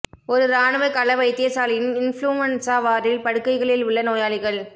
ஒரு இராணுவ கள வைத்தியசாலையின் இன்ஃப்ளூவன்ஸா வார்டில் படுக்கைகளில் உள்ள நோயாளிகள்